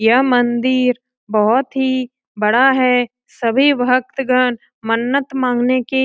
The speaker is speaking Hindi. यह मंदिर बहुत ही बड़ा है सभी भक्तगण मन्नत मांगने की --